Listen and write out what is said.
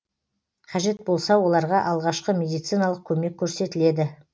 қажет болса оларға алғашқы медициналық көмек көрсетіледі